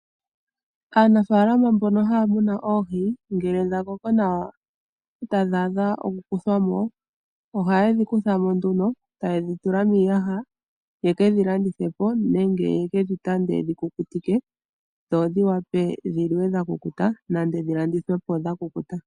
Aanafaalama mbono haya munu oohi ngele dha koko nawa etadhi adha oku kuthwa mo, ohaye dhi kutha mo nduno etaye dhi tula miiyaha yeke dhi landithe po nenge yeke dhi tande yedhi kukutike dho dhi wape dhi li we dha kukuta nenge dhi landithwe dha kukuta.